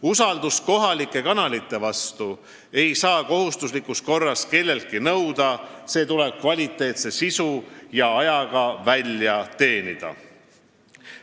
Usaldust kohalike kanalite vastu ei saa kelleltki kohustuslikus korras nõuda – see tuleb kvaliteetse sisu ja ajaga välja teenida.